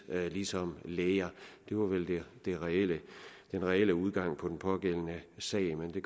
ligesom læger det var vel den reelle reelle udgang på den pågældende sag men det